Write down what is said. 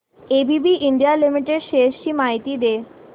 ABB India Limited shares ची माहिती दे